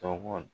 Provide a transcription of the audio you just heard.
Tɔgɔ